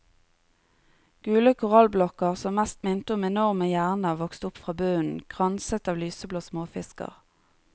Gule korallblokker som mest minte om enorme hjerner vokste opp fra bunnen, kranset av lyseblå småfisker.